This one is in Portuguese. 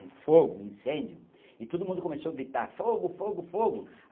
um fogo, incêndio, e todo mundo começou a gritar fogo, fogo, fogo.